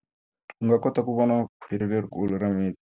U nga kota ku vona khwiri lerikulu ra mipfi.